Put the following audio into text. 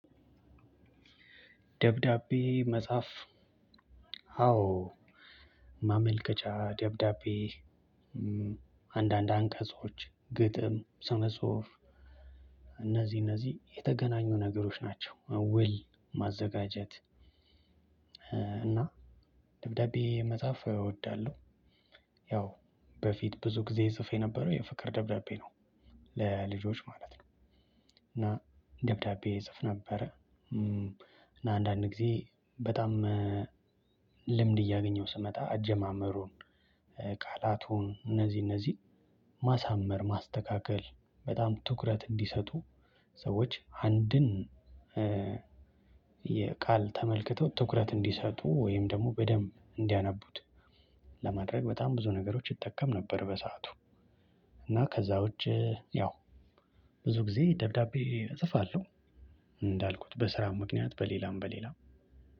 ደብዳቤ መጻፍ አዎ ማመልከቻ ደብዳቤ አንዳንድ አንቀጾች ግጥም ስነጽሁፍ እነዚህ የተገናኙ ነገሮች ናቸው። ውል ማዘጋጀት እና ደብዳቤ መጽሐፍ እወዳለሁ። ያው በፊት ብዙ ጊዜ እጽፍ የነበረው የፍቅር ደብዳቤ ነው። ለልጆች ማለት ነው። እና ደብዳቤ እጽፍ ነበረ። አንዳንድ ግዜ በጣም ልምድ እያገኘው ስመጣ አጀማመሩን። ቃላቱን እነዚህ እነዚህ ማሳመር ማስተካከል በጣም ትኩረት እንዲሰጡ ሰዎች አንድን። የቃል ተመልክተው ትኩረት እንዲሰጡ ወይም ደግሞ በደንብ እንዲያነቡት ለማድረግ በጣም ብዙ ነገሮች እጠቀም ነበር። በሰአቱ። እና ከዛ ውጪ ያው ብዙ ጊዜ ደብዳቤ እጽፋለሁ። እንዳልኩት በስራም ምክንያት በሌላም በሌላም